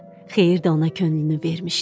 Xeyir də ona könlünü vermişdi.